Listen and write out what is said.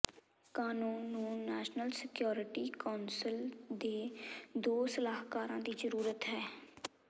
ਕਾਨੂੰਨ ਨੂੰ national security council ਦੇ ਦੋ ਸਲਾਹਕਾਰਾਂ ਦੀ ਜ਼ਰੂਰਤ ਹੈ